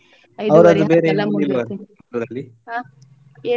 ಹ ಏನು?